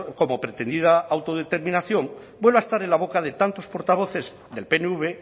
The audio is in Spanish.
como pretendida autodeterminación vuelve a estar en la boca de tantos portavoces del pnv